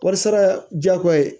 Kɔɔri sara jako ye